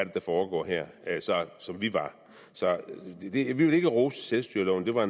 er der foregår her som vi var så vi vil ikke rose selvstyreloven det var